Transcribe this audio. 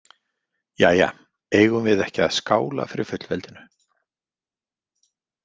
Jæja, eigum við ekki að skála fyrir fullveldinu?